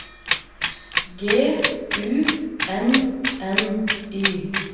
G U N N Y